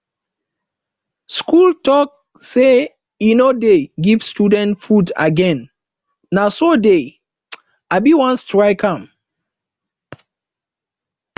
school talk say e no dey give students food again na so dey um wan strike um